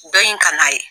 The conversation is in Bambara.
Dɔ in kan'a ye